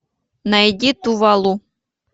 найди тувалу